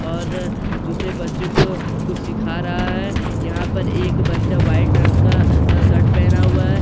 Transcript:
और दूसरे बच्चों को कुछ सीखा रहा है यहां पर एक बच्चा वाइट रंग का शर्ट पहना हुआ है।